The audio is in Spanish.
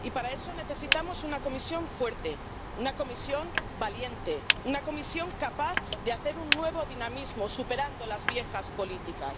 Y para eso necesitamos una Comisión fuerte, una Comisión valiente, una Comisión capaz de hacer un nuevo dinamismo, superando las viejas políticas.